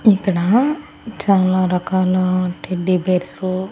ఇక్కడ చాలా రకాల టెడ్డి బేర్స్ .